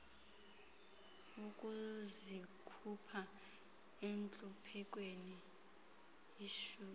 ukuzikhupha entluphekweni isise